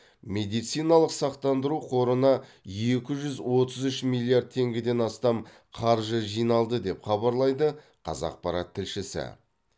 медициналық сақтандыру қорына екі жүз отыз үш миллиард теңгеден астам қаржы жиналды деп хабарлайды қазақпарат тілшісі